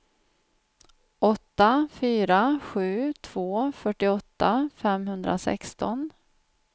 åtta fyra sju två fyrtioåtta femhundrasexton